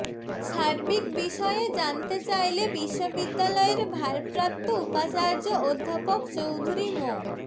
সাবির্ক বিষয়ে জানতে চাইলে বিশ্ববিদ্যালয়ের ভারপ্রাপ্ত উপাচার্য অধ্যাপক চৌধুরি মো